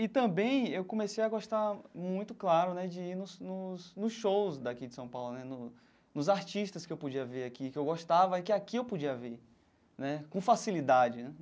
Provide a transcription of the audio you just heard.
E também eu comecei a gostar muito, claro né, de ir nos nos nos shows daqui de São Paulo né, no nos artistas que eu podia ver aqui, que eu gostava e que aqui eu podia ver né, com facilidade né.